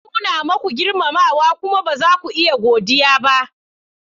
Na nuna muku girmamawa kuma ba za ku iya godiya ba.